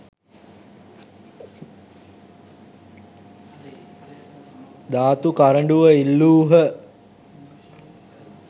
ධාතු කරඬුව ඉල්ලූහ.